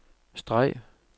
streg